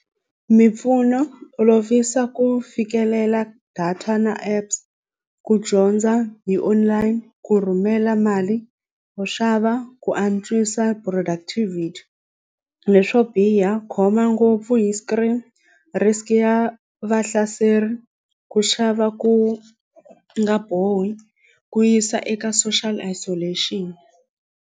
Mimpfuno olovisa ku fikelela data na apps ku dyondza hi online ku rhumela mali yo xava ku antswisa productivity leswo biha khoma ngopfu hi screen risk ya vahlaseri ku xava ku nga bohi ku yisa eka social isolation.